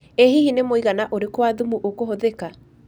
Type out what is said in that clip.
ĩ hihi nĩ mũigana ũrĩkũ wa thumu ũkũhũthĩka